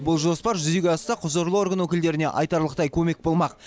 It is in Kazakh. бұл жоспар жүзеге асса құзырлы орган өкілдеріне айтарлықтай көмек болмақ